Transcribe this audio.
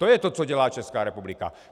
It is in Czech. To je to, co dělá Česká republika.